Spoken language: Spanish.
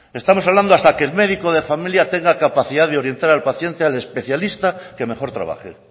estamos hablando hasta que el médico de familia tenga capacidad de orientar al paciente al especialista que mejor trabaje